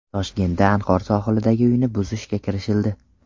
Toshkentda Anhor sohilidagi uyni buzishga kirishildi.